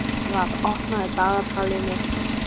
Garðar, opnaðu dagatalið mitt.